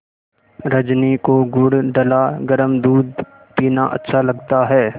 रजनी को गुड़ डला गरम दूध पीना अच्छा लगता है